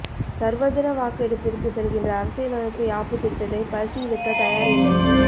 சர்வஜன வாக்கெடுப்பிற்கு செல்கின்ற அரசியலமைப்பு யாப்புத் திருத்தத்தை பரிசீலிக்கத் தயார் இல்லை